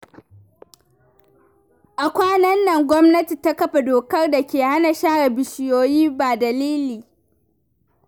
A kwanan nan, gwamnati ta kafa dokar da ke hana sare bishiyoyi ba dalili.